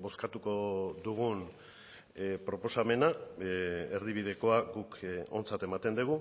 bozkatuko dugun proposamena erdibidekoa guk ontzat ematen dugu